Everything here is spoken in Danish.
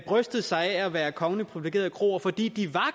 brystet sig af at være kongeligt privilegerede kroer fordi de